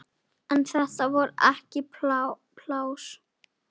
En þetta var okkar pláss.